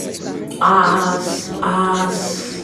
as as